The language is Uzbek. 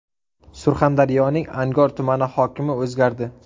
Surxondaryoning Angor tumani hokimi o‘zgardi.